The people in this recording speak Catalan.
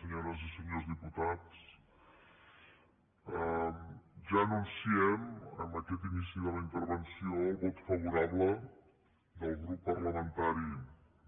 senyores i senyors diputats ja anunciem en aquest inici de la interven·ció el vot favorable del grup parlamentari